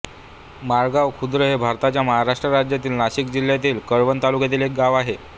माळगाव खुर्द हे भारताच्या महाराष्ट्र राज्यातील नाशिक जिल्ह्यातील कळवण तालुक्यातील एक गाव आहे